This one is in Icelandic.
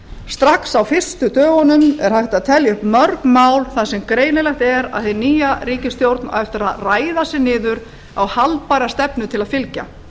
strax á fyrstu dögunum er hægt að telja upp mörg mál þar sem greinilegt er að hin nýja ríkisstjórn á eftir að ræða sig niður á haldbæra stefnu til að fylgja